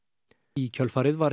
í kjölfarið var